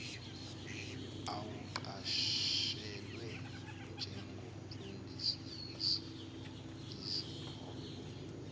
awuqashelwe njengomfundisi izihlobo